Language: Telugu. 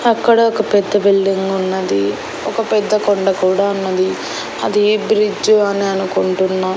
అక్కడ ఒక పెద్ద బిల్డింగ్ ఉన్నది ఒక పెద్ద కొండ కూడా ఉన్నది అది బ్రిడ్జ్ అని అనుకుంటున్నా.